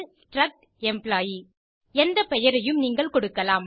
struct employee எந்த பெயரையும் நீங்கள் கொடுக்கலாம்